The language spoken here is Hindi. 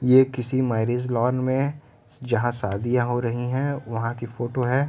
यह किसी मैरेज लॉन में जहां शादियां हो रही है | वहां की फोटो है।